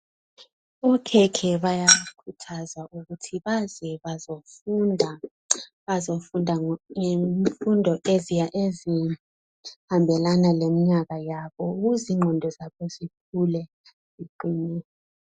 Okhekhe bayakhuthazwa ukuthi baze bazofunda . Bazofunda ngezifundo ezihambelana leminyaka yabo ukuze ingqondo zabo zikhule ziqinile